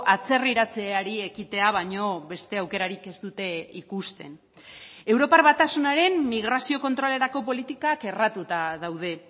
atzerriratzeari ekitea baino beste aukerarik ez dute ikusten europar batasunaren migrazio kontrolerako politikak erratuta daude